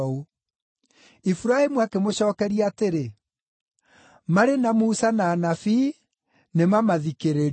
“Iburahĩmu akĩmũcookeria atĩrĩ, ‘Marĩ na Musa na Anabii; nĩmamathikĩrĩrie.’